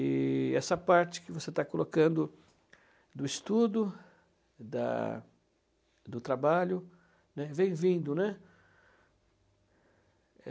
E essa parte que você está colocando do estudo, da do trabalho, né, vem vindo, né?